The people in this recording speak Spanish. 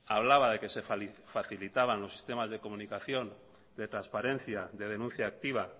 hablaba de que se facilitaban los sistemas de comunicación de transparencia de denuncia activa